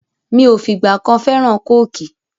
Mi ò fìgbà kan fẹ́ràn Kóòkì